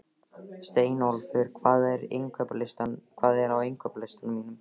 Steinólfur, hvað er á innkaupalistanum mínum?